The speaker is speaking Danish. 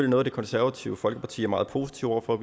noget det konservative folkeparti er meget positive over for